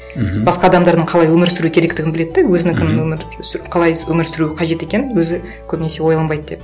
мхм басқа адамдардың қалай өмір сүру керектігін біледі де өзінікін өмір қалай өмір сүру қажет екенін өзі көбінесе ойланбайды деп